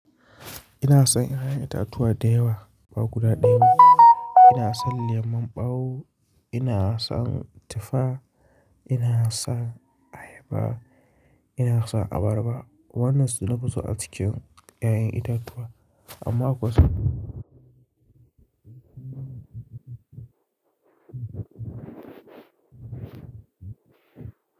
Ina son 'ya'yan itatuwa dayawa ba guda dayawa. Ina son lemon ɓawo, ina son tifa, ina son ayaba, ina son abarba. Wannan suna busa a cikin 'ya'yan itatuwa amma akwai sa.